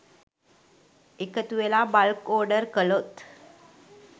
එකතුවෙලා bulk order කළොත්